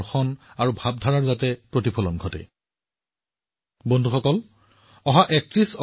আপোনালোক সকলো শ্ৰোতাৰ পৰামৰ্শৰ পিছত মন্ত্ৰালয়ে ইয়াৰ সৈতে সম্পৰ্কিত এখন প্ৰতিযোগিতা অনুষ্ঠিত কৰাৰ সিদ্ধান্ত লৈছে